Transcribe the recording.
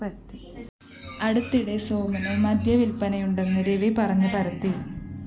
അടുത്തിടെ സോമന് മദ്യവില്‍പ്പന ഉണ്ടെന്ന് രവി പറഞ്ഞ് പരത്തി